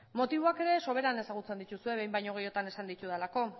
motiboak ere sobera ezagutzen dituzue behin baino gehiagotan esan ditudalako